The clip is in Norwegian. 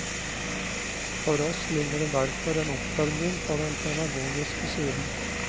For oss ligger det derfor en oppfølging på den pedagogiske siden.